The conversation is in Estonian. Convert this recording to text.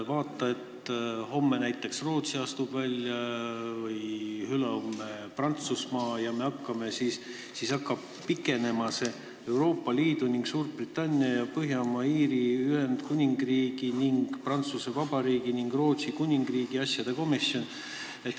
Vaata, kui homme näiteks Rootsi astub välja või ülehomme Prantsusmaa ja siis hakkab see nimetus pikenema: Euroopa Liidu ning Suurbritannia ja Põhja-Iiri Ühendkuningriigi ning Prantsuse Vabariigi ning Rootsi Kuningriigi asjade komisjon.